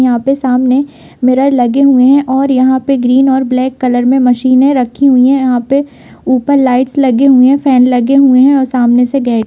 यहाँ पे सामने मिरर लगे हुए है और यहाँ पे ग्रीन और ब्लैक कलर में मशीने रखी हुई है यहाँ पे ऊपर लाइट्स लगे हुए हैं फेन लगे हुआ है और सामने से गेट --